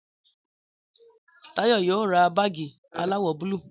Táyọ̀ yóò ra báàgì aláwọ̀ búlù